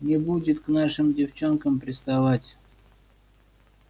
не будет к нашим девчонкам приставать